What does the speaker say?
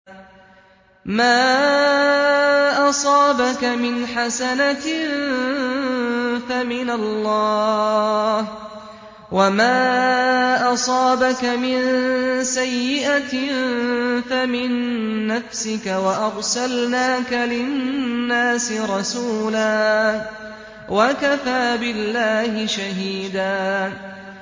مَّا أَصَابَكَ مِنْ حَسَنَةٍ فَمِنَ اللَّهِ ۖ وَمَا أَصَابَكَ مِن سَيِّئَةٍ فَمِن نَّفْسِكَ ۚ وَأَرْسَلْنَاكَ لِلنَّاسِ رَسُولًا ۚ وَكَفَىٰ بِاللَّهِ شَهِيدًا